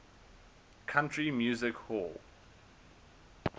country music hall